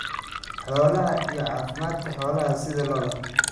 Xoolaha iyo caafimaadka xoolaha sida lo'da.